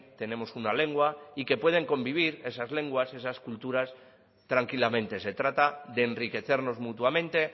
tenemos una lengua y que pueden convivir esas lenguas esas culturas tranquilamente se trata de enriquecernos mutuamente